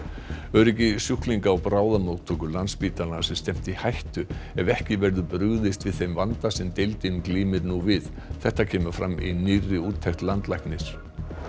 öryggi sjúklinga á bráðamóttöku Landspítalans er stefnt í hættu ef ekki verður brugðist við þeim vanda sem deildin glímir nú við þetta kemur fram í nýrri úttekt landlæknis